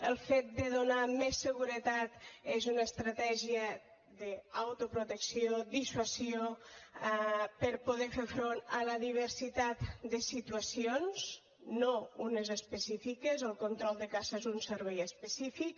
el fet de donar més seguretat és una estratègia d’autoprotecció dissuasió per poder fer front a la diversitat de situacions no unes específiques el control de caça és un servei específic